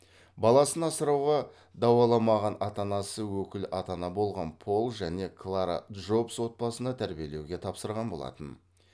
баласын асырауға дауаламаған ата анасы өкіл ата ана болған пол және клара джобс отбасына тәрбиеленуге тапсырған болатын